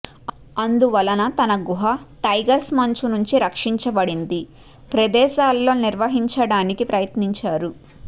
అందువలన తన గుహ టైగర్స్ మంచు నుండి రక్షించబడింది ప్రదేశాల్లో నిర్వహించడానికి ప్రయత్నించారు